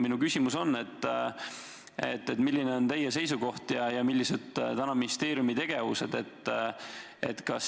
Minu küsimus on: milline on teie seisukoht ja millised on praegu ministeeriumi tegevused?